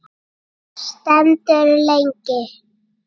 Stendur lengi.